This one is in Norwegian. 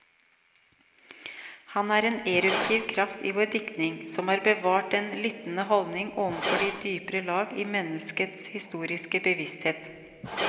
Han er en eruptiv kraft i vår diktning, som har bevart den lyttende holdning overfor de dypere lag i menneskets historiske bevissthet.